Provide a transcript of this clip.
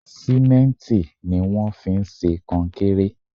Símẹ́ǹtì ni wón fi ń ṣe konkéré.